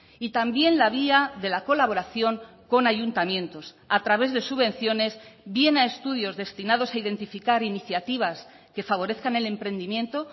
y también la vía de la colaboración con ayuntamientos a través de subvenciones bien a estudios destinados a identificar iniciativas que favorezcan el emprendimiento